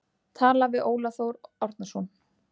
Talað við Óla Þór Árnason.